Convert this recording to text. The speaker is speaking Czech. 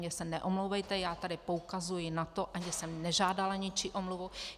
Mně se neomlouvejte, já tady poukazuji na to, ani jsem nežádala ničí omluvu.